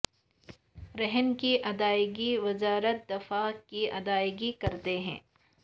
رہن کی ادائیگی وزارت دفاع کی ادائیگی کرتا ہے